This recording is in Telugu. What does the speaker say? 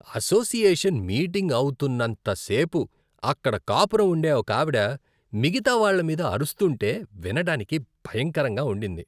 అసోసియేషన్ మీటింగ్ అవుతున్నంతసేపు అక్కడ కాపురం ఉండే ఒకావిడ మిగతా వాళ్ళ మీద అరుస్తుంటే వినడానికి భయంకరంగా ఉండింది.